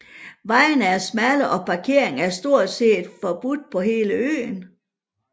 Vejene er smalle og parkering er stort set forbudt på hele øen